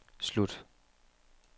slut